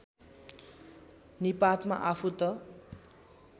निपातमा आफू त